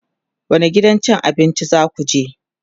wani gidan abincin zakuje?